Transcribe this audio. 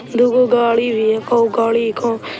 दुगो गाड़ी भी हैकोगाड़ी हैको--